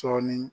Cɔnni